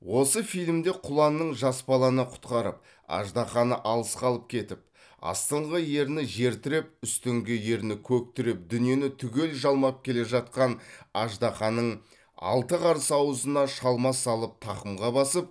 осы фильмде құланның жас баланы құтқарып аждаһаны алысқа алып кетіп астыңғы ерні жер тіреп үстіңгі ерні көк тіреп дүниені түгел жалмап келе жатқан аждаһаның алты қарс аузына шалма салып тақымға басып